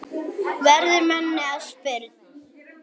verður manni að spurn.